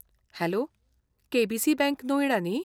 Hello, KBC. Bank Noida न्ही?